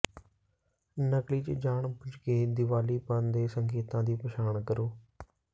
ਨਕਲੀ ਜ ਜਾਣਬੁੱਝ ਕੇ ਦੀਵਾਲੀਆਪਨ ਦੇ ਸੰਕੇਤਾਂ ਦੀ ਪਛਾਣ ਕਰੋ